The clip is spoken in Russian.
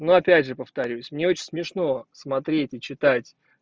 но опять же повторюсь мне очень смешно смотреть и читать